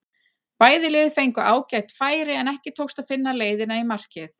Bæði lið fengu ágæt færi en ekki tókst að finna leiðina í markið.